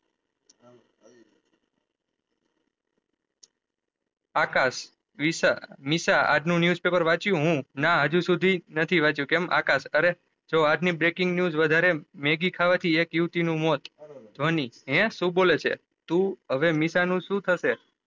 આકાશ વિશા નિશા આજનું newspaper વાચ્યું હું ના અજુ સુધી નથી વાચ્યું કેમ આકાશ અરે જો આજ ની breaking news વધારે મેગી ખાવા થી એક યુવતી નું મૌત ધુવની હે શું બોલે છે તું હવે નિશા નું શું થશે